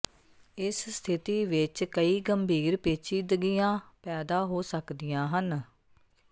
ਇਸ ਸਥਿਤੀ ਵਿੱਚ ਕਈ ਗੰਭੀਰ ਪੇਚੀਦਗੀਆਂ ਪੈਦਾ ਹੋ ਸਕਦੀਆਂ ਹਨ